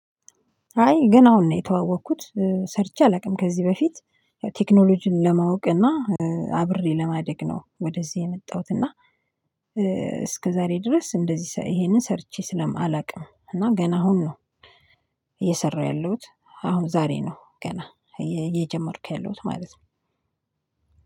አይ ገና አሁን ነው የተዋወቅኩት ሰርቼ አላውቅም ከዚህ በፊት ቴክኖሎጂን ለማወቅ እና አብሬ ለማደግ ነው ወደዚህ የመጣሁት። እና እስከዛሬ ድረስ እንደዚህ እሄንን ሰርቼ ስለማላውቅ ነው እና ገና አሁን ነው እየሰራሁ ያለሁት አሁን ዛሬ ነው ገና እየጀመርኩ ያለሁት ማለት ነው።